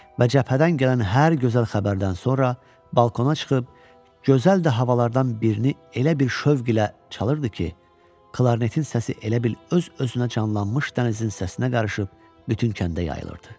Və cəbhədən gələn hər gözəl xəbərdən sonra balkona çıxıb, gözəl də havalardan birini elə bir şövq ilə çalırdı ki, klarnetin səsi elə bil öz-özünə canlanmış dənizin səsinə qarışıb bütün kəndə yayılırdı.